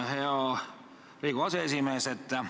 Hea Riigikogu aseesimees!